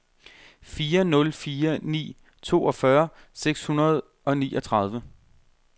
fire nul fire ni toogfyrre seks hundrede og niogtredive